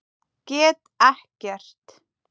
Get ekkert.